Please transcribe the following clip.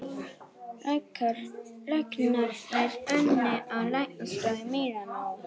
Læknarnir unni á læknastofu í Mílanó